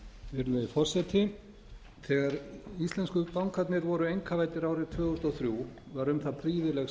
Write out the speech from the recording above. virðulegi forseti þegar íslensku bankarnir voru einkavæddir árið tvö þúsund og þrjú var um það prýðileg